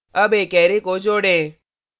add एक array को जोडें